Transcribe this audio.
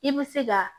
I bɛ se ka